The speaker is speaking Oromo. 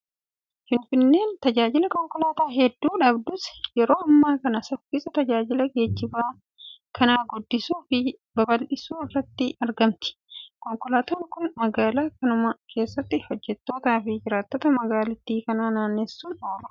Finfinneen tajaajila konkolaataa hedduu dhabdus yeroo ammaa kana saffisaa tajaajila geejjiba kanaa guddisuu fi babal'isuu irratti argamti. Konkolaataan kun magaalaa kanuma keessatti hojjettootaa fi jiraattota magaalattii kan naannessuuf oolu dha.